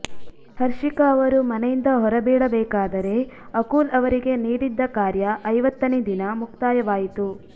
ಹರ್ಷಿಕಾ ಅವರು ಮನೆಯಿಂದ ಹೊರಬೀಳಬೇಕಾದರೆ ಅಕುಲ್ ಅವರಿಗೆ ನೀಡಿದ್ದ ಕಾರ್ಯ ಐವತ್ತನೇ ದಿನ ಮುಕ್ತಾಯವಾಯಿತು